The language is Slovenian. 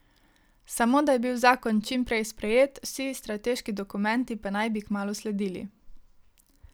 Samo, da je bil zakon čim prej sprejet, vsi strateški dokumenti pa naj bi kmalu sledili.